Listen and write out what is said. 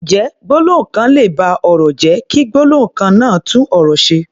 Ǹjẹ́ gbólóhùn kan lè ba ọ̀rọ̀ jẹ́, kí gbólóhùn kan náà tún ọ̀rọ̀ ṣe?